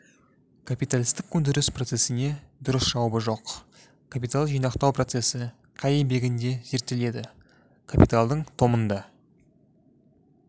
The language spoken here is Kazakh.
капиталистік өндіріс процесіне дұрыс жауабы жоқ капиталды жинақтау процесі қай еңбегінде зерттеледі капиталдың томында